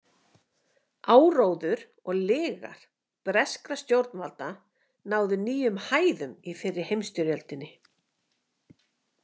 Áróður og lygar breskra stjórnvalda náðu nýjum hæðum í fyrri heimsstyrjöldinni.